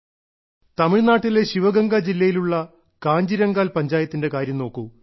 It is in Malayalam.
തമിഴ്നാട്ടിലെ ശിവഗംഗ ജില്ലയിലുള്ള കാഞ്ചിരംഗാൽ പഞ്ചായത്തിന്റെ കാര്യം നോക്കൂ